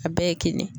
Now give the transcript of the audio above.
A bɛɛ ye kelen